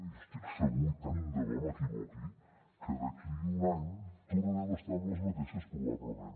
jo estic segur i tant de bo que m’equivoqui que d’aquí a un any tornarem a estar en les mateixes probablement